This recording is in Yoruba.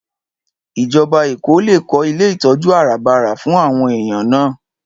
Ìjọba Èkó lè kó ilé ìtọ́jú àràbarà fún àwọn èèyàn náà